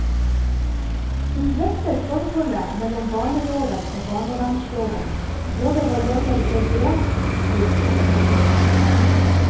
Hun drøfter forholdet mellom barneloven og barnevernsloven, både hva gjelder begrepsbruk og praktisering.